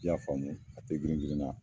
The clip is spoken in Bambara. I y'a faamu a te giringirinna